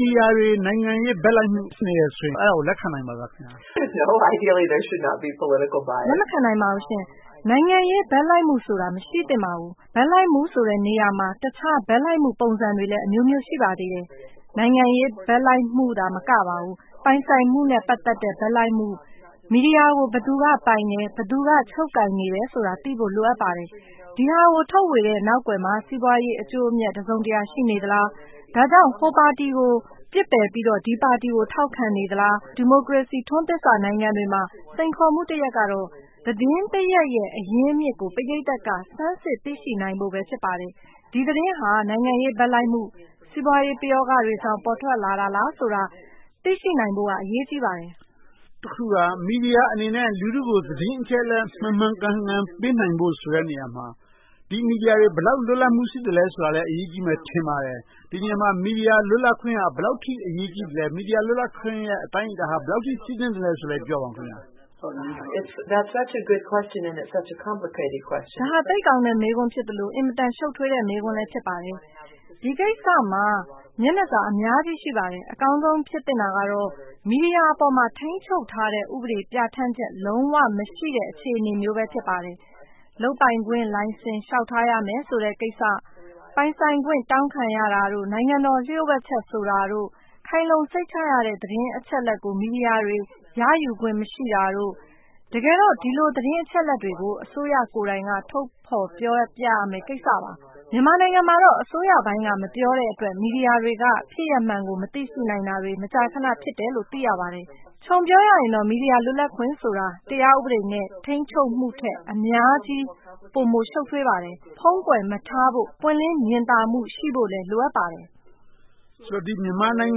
ဒီယာတွေ နိုင်ငံရေး ဘက်လိုက်မှု ရှိနေတယ်ဆိုရင် အဲဒါကို လက်ခံနိုင်ပါသလား။ လက်မခံနိုင်ပါဘူး။ နိုင်ငံရေးဘက်လိုက်မှုဆိုတာ မရှိသင့်ပါဘူး။ ဘက်လိုက်မှုဆိုတဲ့နေရာမှာ တခြားဘက်လိုက်မှု ပုံစံတွေလည်း အမျိုးမျိုး ရှိပါသေးတယ်။ နိုင်ငံရေးဘက်လိုက်မှုသာ မကပါဘူး၊ ပိုင်ဆိုင်မှုနဲ့ ပတ်သက်တဲ့ ဘက်လိုက်မှု၊ မီဒီယာကို ဘယ်သူကပိုင်တယ်၊ ဘယ်သူက ချုပ်ကိုင်နေတယ်ဆိုတာသိဖို့ လိုအပ်ပါတယ်။ ဒီဟာကို ထုတ်ဝေတဲ့နောက်ကွယ်မှာ စီးပွားရေး အကျိုးအမြတ် တစုံတရာ ရှိနေသလား။ ဒါကြောင့် ဟိုပါတီကို ပစ်ပယ်ပြီးတော့၊ ဒီပါတီကို ထောက်ခံနေသလား။ ဒီမိုကရေစီ ထွန်းသစ်စနိုင်ငံတွေမှာ စိန်ခေါ်မှုတရပ်ကတော့ သတင်းတရပ်ရဲ့ အရင်းအမြစ်ကို ပရိသတ်က စမ်းစစ်သိရှိဖို့ပဲ ဖြစ်ပါတယ်။ ဒီသတင်းဟာ နိုင်ငံရေးဘက်လိုက်မှု၊ စီးပွားရေးပယောဂတွေကြောင့် ပေါ်ထွက်လာတာလားဆိုတာ သိရှိနိုင်ဖို့က အရေးကြီးပါတယ်။ တခုက မီဒီယာအနေနဲ့ လူထုကို သတင်းအချက်အလက် မှန်မှန်ကန်ကန် ပေးနိုင်ဖို့ဆိုတဲ့နေရာမှာ ဒီ မီဒီယာတွေ ဘယ်လောက်လွတ်လပ်မှု ရှိသလဲဆိုတာလဲ အရေးကြီးမယ်လို့ ထင်ပါတယ်။ ဒီနေရာမှာ မီဒီယာလွတ်လပ်ခွင့်က ဘယ်လောက်အထိ အရေးကြီးသလဲ။ မီဒီယာလွတ်လပ်ခွင့်ရဲ့ အတိုင်းအတာဟာ ဘယ်လောက်အထိ ရှိသင့်သလဲဆိုတာကို ပြောပါအုံး။ ဒါဟာ သိပ်ကောင်းတဲ့မေးခွန်းဖြစ်သလို၊ အင်မတန်ရှုပ်ထွေးတဲ့ မေးခွန်းလည်း ဖြစ်ပါတယ်။ ဒီကိစ္စမှာ မျက်နှာစာအများကြီး ရှိပါတယ်။ အကောင်းဆုံးဖြစ်သင့်တာကတော့ မီဒီယာအပေါ်မှာ ထိန်းချုပ်ထားတဲ့ ဥပဒေတွေ ပြဌာန်းချက် လုံးဝမရှိတဲ့ အခြေအနေမျိုးပဲ ဖြစ်ပါတယ်။ လုပ်ပိုင်ခွင့်လိုင်စင် လျှောက်ထားရမယ်ဆိုတဲ့ကိစ္စ။ ပိုင်ဆိုင်ခွင့် တောင်းခံရတာတို့၊ နိုင်ငံတော်လျို့ဝှက်ချက် ဆိုတာတို့၊ ခိုင်လုံစိတ်ချရတဲ့ သတင်းအချက်အလက်ကို မီဒီယာတွေ ရယူခွင့် မရှိတာတို့။ တကယ်တော့ ဒီလိုသတင်းအချက်အလက်တွေကို အစိုးရကိုယ်တိုင်က ထုတ်ဖော်ပြောပြရမယ့် ကိစ္စပါ။ မြန်မာနိုင်ငံမှာတော့ အစိုးရပိုင်းကမပြောတဲ့အတွက် မီဒီယာတွေက ဖြစ်ရပ်မှန်ကို မသိရှိနိုင်တာတွေ မကြာခဏ ဖြစ်တယ်လို့ သိရပါတယ်။ ခြုံပြောရရင်တော့ မီဒီယာလွတ်လပ်ခွင့်ဆိုတာ တရားဥပဒေနဲ့ ထိန်းချုပ်မှုထက် အများကြီး ပိုမိုရှုပ်ထွေးပါတယ်။ ဖုံးကွယ်မထားဖို့၊ ပွင့်လင်းမြင်သာမှု ရှိဖို့လည်း လိုအပ်ပါတယ်။ ဆိုတော့ မြန်မာနိုင်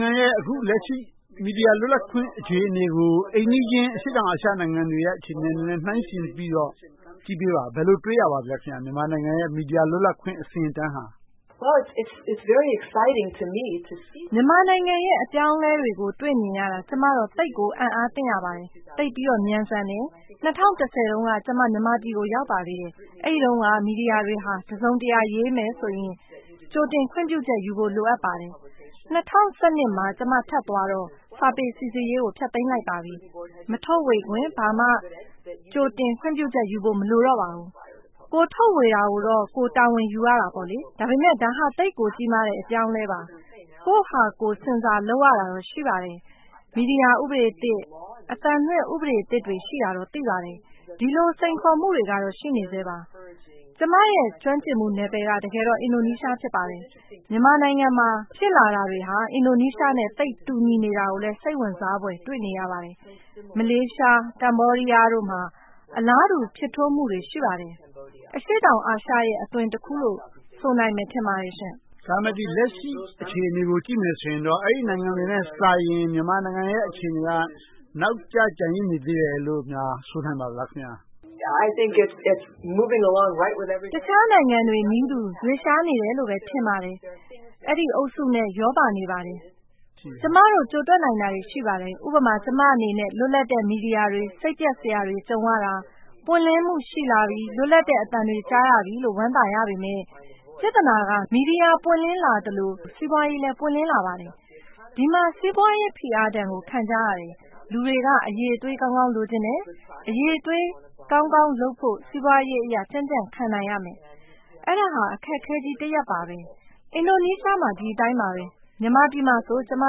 ငံရဲ့ လက်ရှိ မီဒီယာလွတ်လပ်ခွင့် အခြေအနေကို အိမ်နီးချင်း အရှေ့တောင်အာရှနိုင်ငံတွေရဲ့ အခြေအနေတွေနဲ့ နှိုင်းယှဉ်ကြည့်ပြီးတော့ ကြည့်ပေးပါ။ ဘယ်လိုတွေ့ရပါသလဲ။ မြန်မာနိုင်ငံရဲ့ မီဒီယာလွတ်လပ်ခွင့် အဆင့်အတန်းဟာ။ မြန်မာနိုင်ငံရဲ့ အပြောင်းအလဲတွေကို တွေ့မြင်ရတာ ကျမတော့ သိပ်အံ့သြသင့်ရပါတယ်။ သိပ်ပြီးတော့ မြန်ဆန်တယ်။ ၂၀၁၀ တုန်းက ကျမ မြန်မာပြည်ကို ရောက်ပါသေးတယ်။ အဲဒီတုန်းက မီဒီယာတွေဟာ တစုံတရာ ရေးမယ်ဆိုရင် ကြိုတင်ခွင့်ပြုချက်တွေယူဖို့ လိုအပ်ပါတယ်။ ၂၀၁၂ မှာ ကျမထပ်သွားတော့ စာပေစီစစ်ရေးကို ဖျက်သိမ်းလိုက်ပါပြီ။ မထုတ်ဝေခင် ကြိုတင်ခွင့်ပြုချက် ဘာမှယူဖို့ မလိုအပ်တော့ပါဘူး။ ကိုယ်ထုတ်ဝေတာကိုတော့ ကိုယ်တာဝန်ယူရတယ်။ ဒါဟာ သိပ်ကိုကြီးမားတဲ့ အပြောင်းအလဲပါ။ ကိုယ့်ဟာကိုယ် ဆင်ဆာလုပ်ရတာတော့ ရှိပါတယ်။ မီဒီယာဥပဒေသစ်၊ အသံလွှင့်ဥပဒေသစ်တွေ ရှိတာတော့ သိပါတယ်။ ဒီလိုစိန်ခေါ်မှုတွေတော့ ရှိနေဆဲပါ။ ကျမရဲ့ ကျွမ်းကျင်မှုနယ်ပယ်က တကယ်တော့ အင်ဒိုနီးရှား ဖြစ်ပါတယ်။ မြန်မာနိုင်ငံမှာ ဖြစ်လာတာတွေက အင်ဒိုနီးရှားနဲ့ သိပ်တူနေတာကိုလည်း စိတ်ဝင်စားဖွယ် တွေ့နေရပါတယ်။ မလေးရှား၊ ကမ္ဘောဒီးယားတို့မှာ အလားတူဖြစ်ထွန်းမှုတွေ ရှိပါတယ်။ အရှေ့တောင်အာရှရဲ့ အသွင်တခုလို့ ဆိုနိုင်မယ်ထင်ပါတယ်။ ဒါပေမဲ့ လက်ရှိအခြေအနေကို ကြည့်မယ်ဆိုရင်တော့ အဲဒီနိုင်ငံတွေနဲ့စာရင် မြန်မာနိုင်ငံရဲ့ အခြေအနေက နောက်ကျကျန်ရစ်နေသေးတယ်လို့များ ဆိုနိုင်ပါသလား။ အခြားနိုင်ငံတွေနည်းတူ ရွေ့လျားနေတယ်လို့ပဲ ထင်ပါတယ်။ အဲဒီအုပ်စုနဲ့ ရောပါနေပါတယ်။ ကျမတို့ ကြိုတွက်နိုင်တာတွေ ရှိပါတယ်။ ကျမအနေနဲ့ လွတ်လပ်တဲ့ မီဒီယာတွေ စိတ်ပျက်စရာတွေ ကြုံရတာ၊ ပွင့်လင်းမှု ရှိလာပြီ၊ လွတ်လပ်တဲ့အသံတွေ ကြားရပြီလို့ ဝမ်းသာရပေမယ့် ပြဿနာက မီဒီယာပွင့်လင်းလွတ်လပ်လာသလို၊ စီးပွားရေးလည်း ပွင့်လင်းလာပါတယ်။ ဒီမှာ စီးပွားရေးပွင့်လင်းဒဏ်ကို ခံကြရတယ်။ လူတွေက အရည်အသွေးကောင်းကောင်း လိုချင်ကြတယ်။ အရည်အသွေးကောင်းကောင်းလုပ်ဖို့ စီးပွားရေးအရ ကြံ့ကြံ့ခံနိုင်ရမယ်။ အဲဒါဟာ အခက်အခဲကြီးတရပ်ပါပဲ။ အင်ဒိုနီးရှားမှာ ဒီအတိုင်းပါပဲ။ မြန်မာပြည်မှာဆို ကျမ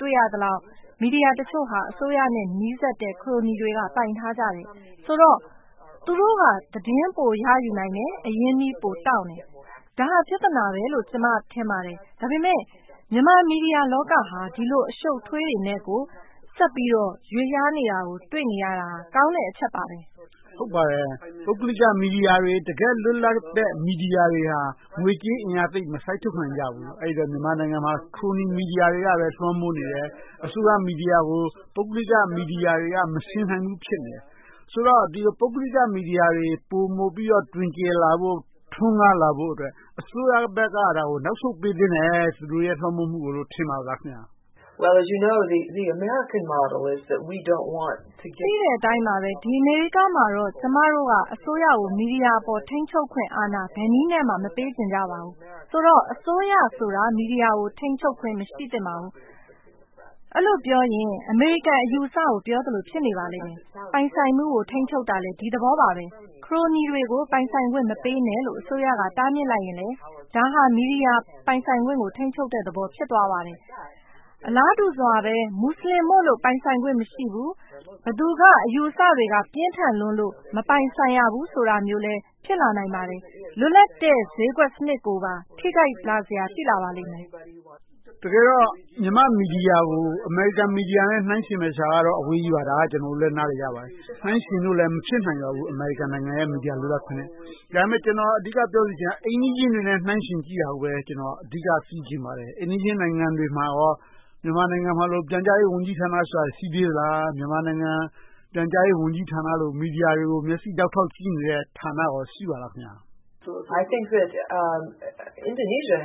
တွေ့ရသလောက် မီဒီယာတချို့ဟာ အစိုးရနဲ့ နီးစပ်တဲ့ ခရိုနီတချို့တွေက ပိုင်ဆိုင်ထားကြတယ်။ ဆိုတော့ သူတို့က သတင်းပိုရယူနိုင်တယ်။ အရင်းအနှီးပိုတောင့်တယ်။ ဒါဟာ ပြဿနာပဲလို့ ကျမ ထင်ပါတယ်။ ဒါပေမဲ့ မြန်မာမီဒီယာလောကဟာ ဒီလိုအရှုပ်အထွေးတွေနဲ့ကို ဆက်ပြီးတော့ ရွေ့လျားနေတာကို တွေ့နေရတာ ကောင်းတဲ့အချက်ပါပဲ။ ဟုတ်ပါတယ် ပုဂ္ဂလိကမီဒီယာတွေ တကယ့်လွတ်လပ်တဲ့ မီဒီယာတွေဟာ ငွေကြေးအင်အားသိပ်မစိုက်ထုတ်နိုင်ကြဘူး။ အဲဒီအတွက် မြန်မာနိုင်ငံမှာ ခရိုနီမီဒီယာတွေကပဲ လွှမ်းမိုးနေတယ်။ အစိုးရမီဒီယာကို ပုဂ္ဂလိကမီဒီယာတွေက မယှဉ်နိုင်ဘူး ဖြစ်နေတယ်။ ဆိုတော့ ပုဂ္ဂလိကမီဒီယာတွေ ပိုမိုပြီးတော့ တွင်ကျယ်လာဖို့ ထွန်းကားလာဖို့အတွက် အစိုးရဘက်က သူတို့ရဲ့ လွှမ်းမိုးမှုကို နောက်ဆုတ်ပေးသင့်တယ်လို့ သိတဲ့အတိုင်းပါပဲ အမေရိကမှာတော့ ကျမတို့က အစိုးရအပေါ် မီဒီယာတွေက ထိန်းချုပ်ခွင့်အာဏာ ဘယ်နည်းနဲ့မှ မပေးနိုင်ကြပါဘူး။ ဆိုတော့ အစိုးရဆိုတာ မီဒီယာ ထိန်းချုပ်ခွင့် မရှိသင့်ပါဘူး။ အဲဒီလိုပြောရင် အမေရိကန်အယူအဆကို ပြောသလို ဖြစ်နေပါလိမ့်မယ်။ ပိုင်ဆိုင်မှုကို ထိန်းချုပ်တာလည်း ဒီသဘောပါပဲ။ ခရိုနီတွေကို ပိုင်ဆိုင်ခွင့်မပေးနဲ့လို့ အစိုးရက တားမြစ်လိုက်ရင်လဲ ဒါဟာ မီဒီယာပိုင်ဆိုင်ခွင့်ကို ထိန်းချုပ်လိုက်တဲ့သဘော ဖြစ်ပါတယ်။ အလားတူစွာပါပဲ မူစလင်မို့လို့ ပိုင်ဆိုင်ခွင့်မရှိဘူး။ ဘယ်သူက အယူအဆတွေက ပြင်းထန်လွန်လို့ မပိုင်ဆိုင်ရဘူးဆိုတာလည်း ဖြစ်လာနိုင်ပါတယ်။ လွတ်လပ်တဲ့ ဈေးကွက်စနစ်ကိုပါ ထိခိုက်လာပါလိမ့်မယ်။ တကယ်တော့ မြန်မာ့မီဒီယာကို အမေရိကန်မီဒီယာနဲ့ နှိုင်းယှဉ်မယ်ဆိုတာကတော့ အဝေးကြီးပါ။ ဒါကို ကျနော်တို့လည်း နားလည်ကြပါတယ်။ အမေရိကန်နိုင်ငံ မီဒီယာလွတ်လပ်ခွင့်နဲ့ နှိုင်းယှဉ်လို့လဲ မဖြစ်နိုင်ပါဘူး။ ကျနော် အဓိကပြောချင်တာ အိမ်နီးချင်းတွေနဲ့ နှိုင်းယှဉ်ကြည့်တာကိုပဲ အဓိက သိချင်ပါတယ်။ အိမ်နီးချင်းနိုင်ငံတွေမှာကော မြန်မာနိုင်ငံလို ပြန်ကြားရေးဝန်ကြီးဌာန ရှိသေးသလား။ မြန်မာနိုင်ငံ ပြန်ကြားရေးဝန်ကြီးဌာနလို မီဒီယာတွေကို မျက်စိဒေါက်ထောက်ကြည့်နေတဲ့ ဌာန ရှိပါသလား။ အင်ဒိုနီးရှား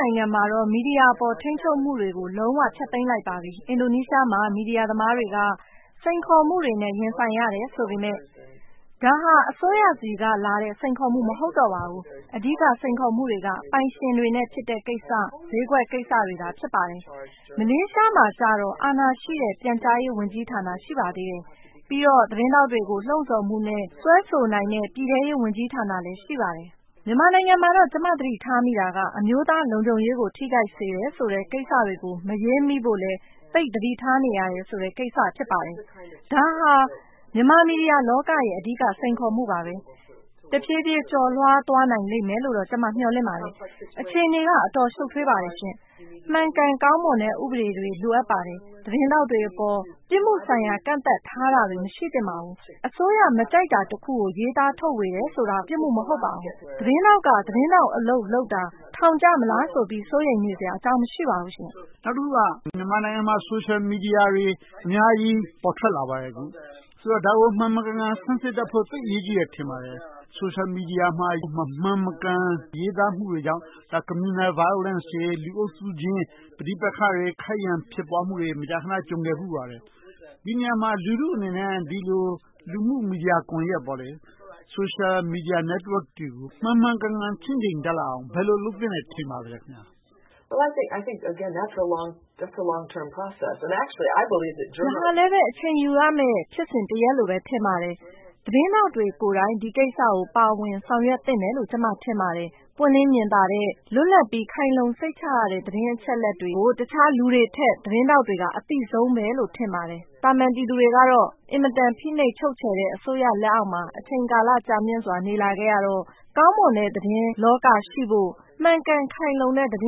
နိုင်ငံမှာတော့ မီဒီယာအပေါ် ထိန်းချုပ်မှုတွေကိုတော့ လုံးဝဖျက်သိမ်းလိုက်ပါပြီ။ အင်ဒိုနီးရှားမှာ မီဒီယာသမားတွေက စိန်ခေါ်မှုတွေနဲ့ ရင်ဆိုင်ရတယ်ဆိုပေမယ့် ဒါဟာ အစိုးရဆီကလာတဲ့ စိန်ခေါ်မှုတွေ မဟုတ်ပါဘူး။ အဓိက စိန်ခေါ်မှုတွေက ပိုင်ရှင်တွေနဲ့ဖြစ်တဲ့ကိစ္စ၊ ဈေးကွက်ကိစ္စတွေသာ ဖြစ်ပါတယ်။ မလေးရှားမှာကြတော့ အာဏာရှိတဲ့ ပြန်ကြားရေးဝန်ကြီးဌာန ရှိပါသေးတယ်။ ပြီးတော့ သတင်းထောက်တွေကို လှုံဆော်မှုနဲ့ စွဲဆိုနိုင်တဲ့ ပြည်ထဲရေးဝန်ကြီးဌာနလည်း ရှိပါတယ်။ မြန်မာနိုင်ငံမှာတော့ ကျမ သတိထားမိတာက အမျိုးသားလုံခြုံရေးကို ထိခိုက်စေတယ်ဆိုတဲ့ ကိစ္စတွေကို မရေးမိဖို့ သိပ်သတိထားနေရတယ်ဆိုတဲ့ ကိစ္စ ဖြစ်ပါတယ်။ ဒါဟာ မြန်မာမီဒီယာလောကရဲ့ အဓိက စိန်ခေါ်မှုပါ။ တဖြည်းဖြည်းကျော်လွှားသွားနိုင်လိမ့်မယ်လို့ ကျမ မျှော်လင့်မိပါတယ်။ အခြေအနေက အင်မတန်ရှုပ်ထွေးပါတယ်။ မှန်ကန်ကောင်းမွန်တဲ့ ဥပဒေတွေ လိုအပ်ပါတယ်။ သတင်းထောက်တွေအပေါ် ပြစ်မှုဆိုင်ရာ ဥပဒေတွေ မထားရှိသင့်ပါဘူး။ အစိုးရ မကြိုက်တာတခုကို ရေးသားထုတ်ဝေတယ်ဆိုတာ ပြစ်မှုမဟုတ်ပါဘူး။ သတင်းထောက်က သတင်းထောက်အလုပ်လုပ်တာ ထောင်ကျမလားဆိုပြီး စိုးရိမ်နေစရာအကြောင်း မရှိပါဘူး။ နောက်တခုက မြန်မာနိုင်ငံမှာ ဆိုရှယ်မီဒီယာတွေ အများကြီး ပေါ်ထွက်လာပါတယ်။ ဆိုတော့ ဒါကို မှန်မှန်ကန်ကန် စမ်းစစ်တတ်ဖို့ သိပ်အရေးကြီးတယ်လို့ ထင်ပါတယ်။ ဆိုရှယ်မီဒီယာမှာ မမှန်မကန် ရေးသားမှုတွေကြောင့် Communal Violence တွေ လူအုပ်စုချင်း ပဋိပက္ခတွေ ခိုက်ရန်ဖြစ်ပွားမှုတွေ မကြာခဏ ကြုံခဲ့ဖူးပါတယ်။ ဒီနေရာမှာ လူထုအနေနဲ့ ဒီလို လူမှု့မီဒီယာကွန်ရက် Social Media Network တွေကို မှန်မှန်ကန်ကန် ချင့်ချိန်တတ်လာအောင် ဘယ်လိုလုပ်သင့်တယ် ထင်ပါသလဲ။ ဒါကလဲ အချိန်ယူပြီးလုပ်ရမယ့် ဖြစ်စဉ်တရပ်လို့ ထင်ပါတယ်။ သတင်းထောက်တွေကိုယ်တိုင် ဒီကိစ္စကို ပါဝင်ဆောင်ရွက်သင့်တယ်လို့ ကျမ ထင်ပါတယ်။ ပွင့်လင်းမြင်သာတဲ့၊ လွတ်လပ်ပြီး ခိုင်လုံစိတ်ချရတဲ့ သတင်းအချက်အလက်တွေကို တခြားလူတွေထက် သတင်းထောက်တွေက ပိုအသိဆုံးလို့ပဲ ထင်ပါတယ်။ သာမန်ပြည်သူတွေကတော့ အင်မတန် ဖိနှိပ်ချုပ်ချယ်တဲ့ အစိုးရလက်အောက်မှာ အချိန်ကြာမြင့်စွာ နေလာခဲ့ရတော့ ကောင်းမွန်တဲ့သတင်းလောကရှိဖို့ မှန်ကန်ခို်င်လုံတဲ့ သတ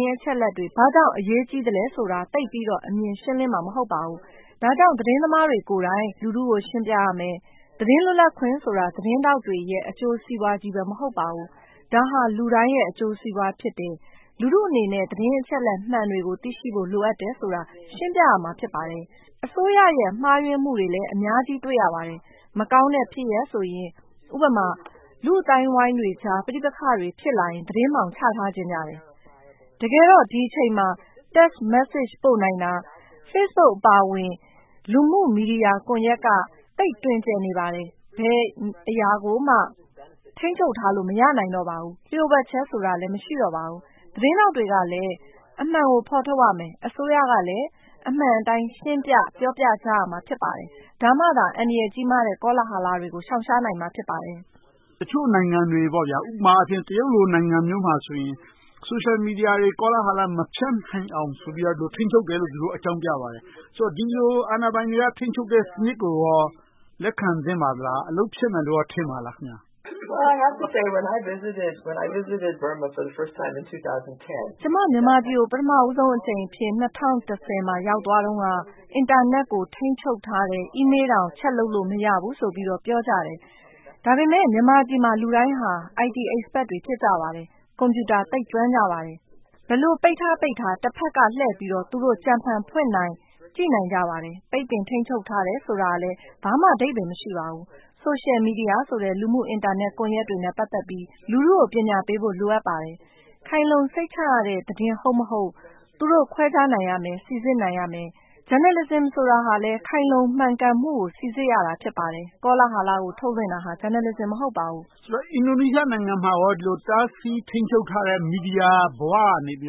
င်းအချက်အလက်တွေ ဘာကြောင့်အရေးကြီးသလဲဆိုတာ သိပ်ပြီးတော့ အမြင်ရှင်းလင်းမှာ မဟုတ်ပါဘူး။ ဒါကြောင့် သတင်းသမားတွေကိုယ်တိုင် လူထုကို ရှင်းပြရမယ်။ သတင်းလွတ်လပ်ခွင့်ဆိုတာ သတင်းထောက်တွေရဲ့ အကျိုးစီးပွားကြီးပဲ မဟုတ်ပါဘူး။ ဒါဟာ လူတိုင်းရဲ့ အကျိုးစီးပွားဖြစ်တယ်။ လူထုအနေနဲ့ သတင်းအချက်အလက်မှန်တွေကို သိရှိဖို့ လိုအပ်တယ်ဆိုတာ ရှင်းပြရမှာ ဖြစ်ပါတယ်။ အစိုးရရဲ့ မှားယွင်းမှုတွေလည်း အများကြီးတွေ့ရပါတယ်။ မကောင်းတဲ့ဖြစ်ရပ်ဆိုရင် ဥပမာ လူ့အသိုင်းအဝိုင်းတွေကြား ပဋိပက္ခတွေ ဖြစ်လာရင် သတင်းအမှောင်ချထားချင်ကြတယ်။ တကယ်တော့ ဒီအချိန်မှာ Text message ပို့နိုင်တာ၊ Facebook အပါအဝင် လူမှု့မီဒီယာကွန်ရက်က သိပ်တွင်ကျယ်နေပါတယ်။ ဘယ်အရာကိုမှ ထိန်းချုပ်ထားလို့ မရနိုင်တော့ပါဘူး။ လျို့ဝှက်ချက်ဆိုတာလည်း မရှိနိုင်တော့ပါဘူး။ သတင်းထောက်တွေကလည်း အမှန်ကို ဖော်ထုတ်ရမယ်။ အစိုးရကလည်း အမှန်အတိုင်း ရှင်းပြပြောပြရမယ်။ ဒါမှသာ အန္တရာယ်ကြီးမားတဲ့ ကောလာဟလတွေကို ရှောင်ရှားနိုင်မှာ ဖြစ်ပါတယ်။ တချို့နိုင်ငံတွေ တရုတ်လိုနိုင်ငံမျိုးမှာဆိုရင် Social Media တွေ ကောလာဟလ မဖြန့်နိုင်အောင်ဆိုပြီး ထိန်းချုပ်တယ်လို့ အကြောင်းပြပါတယ်။ ဒီလို အာဏာပိုင်တွေ ထိန်းချုပ်တဲ့ စနစ်ကိုကော လက်ခံသင့်ပါလား။ အလုပ်ဖြစ်မယ်လို့ ကျမ မြန်မာနိုင်ငံကို ပထမအကြိမ်အဖြစ် ၂၀၁၀ ရောက်သွားတုန်းက အင်တာနက်ကို ထိန်းချုပ်ထားတယ်။ အီးမေးလ်တောင် check လုပ်လို့ မရဘူးလို့ ပြောကြတယ်။ ဒါပေမဲ့ မြန်မာပြည်မှာ လူတိုင်းဟာ IT Expert တွေ ဖြစ်ကြပါတယ်။ ကွန်ပြူတာ သိပ်ကျွမ်းကြပါတယ်။ ဘယ်လိုပိတ်ထား၊ ပိတ်ထား တဘက်ကလှည့်ပြီးတော့ သူတို့ကြံဖန်ဖွင့်နိုင်၊ ကြည့်နိုင်ကြပါတယ်။ ပိတ်ပင်ထိန်းချုပ်ထားတယ်ဆိုတာလည်း ဘာမှအဓိပ္ပါယ်မရှိပါဘူး။ Social Media ဆိုတဲ့ လူမှု့ကွန်ရက်တွေနဲ့ ပတ်သက်ပြီး လူထုကို ပညာပေးဖို့ လိုအပ်ပါတယ်။ ခိုင်လုံစိတ်ချရတဲ့ သတင်းဟုတ်မဟုတ်၊ သူတို့ ခွဲခြားနိုင်ရမယ်၊ စီစစ်နိုင်ရမယ်။ Journalism ဆိုတာလည်း ခိုင်လုံမှန်ကန်မှုကို စီစစ်ရတာ ဖြစ်ပါတယ်။ ကောလာဟလကို ထုတ်လွှင့်တာ Journalism မဟုတ်ပါဘူး။ အင်ဒိုနီးရှားနိုင်ငံမှာကော ဒီလောက်တားဆီးထိန်းချုပ်ထားတဲ့ မီဒီယာဘဝကနေ ပွ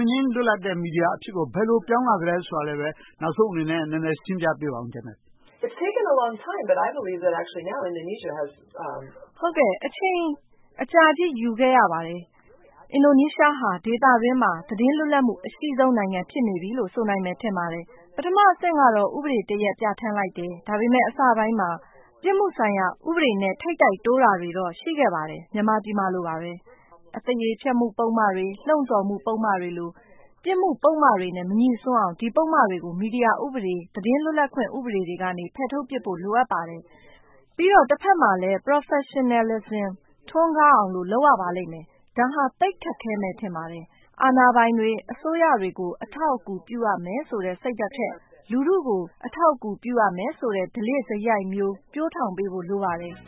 င့်လင်းလွတ်လပ်တဲ့ မီဒီယာအဖြစ်ကို ဘယ်လို ပြောင်းလဲလာသလဲဆိုတာကို နောက်ဆုံးအနေနဲ့ နည်းနည်းရှင်းပြပေးပါ။ အချိန်အကြာကြီး ယူခဲ့ရပါတယ်။ အင်ဒိုနီးရှားဟာ ဒေသအတွင်းမှာ သတင်းလွတ်လပ်ခွင့် အရှိဆုံးနိုင်ငံ ဖြစ်နေပြီလို့ ဆိုနိုင်ပါတယ်။ ပထမအဆင့်ကတော့ ဥပဒေတရပ် ပြဌာန်းလိုက်တယ်။ ဒါပေမဲ့ အစပိုင်းမှာ ပြစ်မှုဆိုင်ရာ ဥပဒေနဲ့ ထိပ်တိုက်တိုးတာတွေတော့ ရှိခဲ့ပါတယ်။ မြန်မာပြည်မှာလိုပဲ အသေရေးဖျက်မှုပုဒ်မတွေ၊ လှုံဆော်မှုပုဒ်မတွေလို ပြစ်မှုပုဒ်မတွေနဲ့ မငြိ့စွန်းအောင် ဒီပုဒ်မတွေကို မီဒီယာဥပဒေ၊ သတင်းလွတ်လပ်ခွင့် ဥပဒေတွေကနေ ဖယ်ထုတ်ပြစ်ဖို့ လိုအပ်ပါတယ်။ ပြီးတော့ တဘက်မှာလည်း Professionalism ထွန်းကားအောင်လို့ လုပ်ရပါလိမ့်မယ်။ ဒါဟာ သိပ်ကိုခက်ခဲမယ် ထင်ပါတယ်။ အာဏာပိုင်တွေ၊ အစိုးရတွေကို အထောက်အကူ ပြုရမယ်ဆိုတဲ့ စိတ်ဓါတ်ထက် လူထုကို အထောက်အကူ ပြုရမယ်ဆိုတဲ့ ဓလေ့စရိုက်မျိုး ပျိုးထောင်ပေးဖို့ လိုအပ်ပါတယ်။